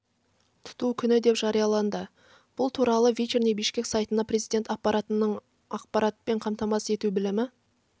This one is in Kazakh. тұту күні деп жарияланды бұл туралы вечерний бишкек сайтына президент аппаратының ақпаратпен қамтамасыз ету бөлімі